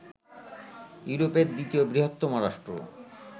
ইউরোপের দ্বিতীয় বৃহত্তম রাষ্ট্র